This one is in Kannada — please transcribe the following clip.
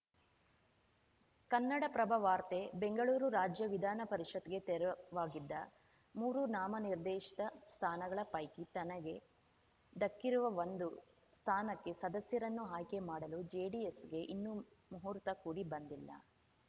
ಕನ್ನಡಪ್ರಭ ವಾರ್ತೆ ಬೆಂಗಳೂರು ರಾಜ್ಯ ವಿಧಾನಪರಿಷತ್‌ಗೆ ತೆರವಾಗಿದ್ದ ಮೂರು ನಾಮನಿರ್ದೇಶಿತ ಸ್ಥಾನಗಳ ಪೈಕಿ ತನಗೆ ಧಕ್ಕಿರುವ ಒಂದು ಸ್ಥಾನಕ್ಕೆ ಸದಸ್ಯರನ್ನು ಆಯ್ಕೆ ಮಾಡಲು ಜೆಡಿಎಸ್‌ಗೆ ಇನ್ನೂ ಮುಹೂರ್ತ ಕೂಡಿ ಬಂದಿಲ್ಲ